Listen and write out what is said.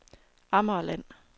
Amagerland